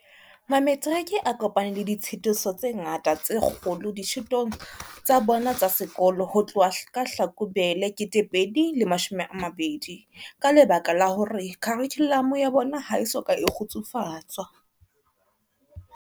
Mametiriki a kopane le ditshitiso tse ngata tse kgolo dithutong tsa bona tsa sekolo ho tloha ka Hlakubele 2020 ka lebaka la hore kharikhulamo ya bona ha e soka e kgutsufatswa.